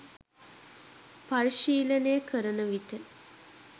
පරිශීලනය කරන විට